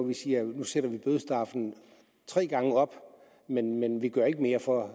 vi siger at nu sætter vi bødestraffen tre gange op men men vi gør ikke mere for at